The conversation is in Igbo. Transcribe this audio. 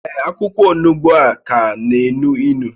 Ee, akwụkwọ onugbu a ka na-énú ínú